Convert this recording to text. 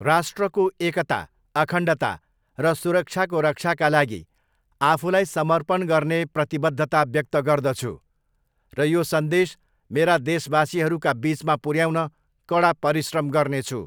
राष्ट्रको एकता, अखण्डता र सुरक्षाको रक्षाका लागि आफूलाई समर्पण गर्ने प्रतिबद्धता व्यक्त गर्दछु र यो सन्देश मेरा देशवासीहरूका बीचमा पुऱ्याउन कडा परिश्रम गर्नेछु।